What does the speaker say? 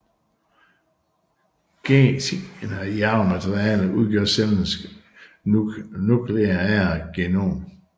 Generne i arvematerialet udgør cellens nukleære genom